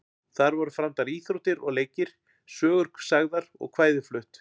Þar voru framdar íþróttir og leikir, sögur sagðar og kvæði flutt.